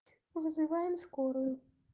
вызываем скорую